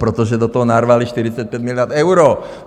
Protože do toho narvali 45 miliard euro!